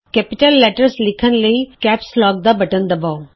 ਵੱਡੇ ਅੱਖਰ ਲਿਖਣ ਲਈ ਕੈਪਸ ਲੌਕ ਬਟਨ ਦਬਾਉ